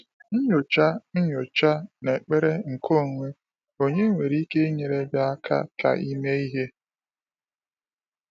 Nnyocha Nnyocha na ekpere nke onwe onye nwere ike i nyere gị aka ka i mee ihe.